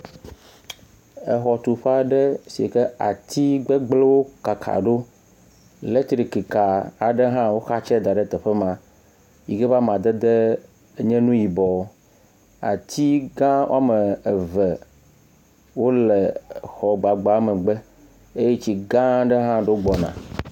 Exɔtuƒe aɖe sike atiwo gbegblẽwo kaka ɖo, elektrika aɖewo hã woxatsɛ da ɖe teƒe ma yike be amadede nye nu yibɔ. Ati gã ame ve wole xɔ gbagba megbe eye tsi gã aɖe hã ɖo gbɔna.